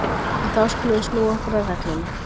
En þá skulum við snúa okkur að reglunum.